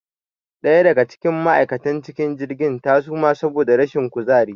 Ɗaya daga cikin ma' aikatan cikin jirgi ta suma saboda rashin kuzari